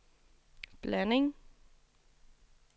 blanding